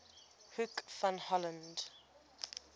hoek van holland